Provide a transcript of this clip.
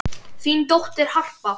Þín dóttir, Harpa.